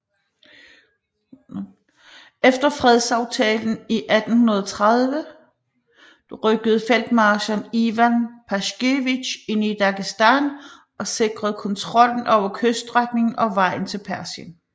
Efter fredsaftalen i 1830 rykkede feltmarskal Ivan Paskevitj ind i Dagestan og sikrede kontrollen over kyststrækningen og vejen til Persien